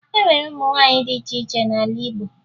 E nwere ụmụ nwaanyị dị iche iche n'ala Igbo